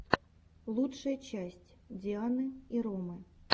лучшая часть дианы и ромы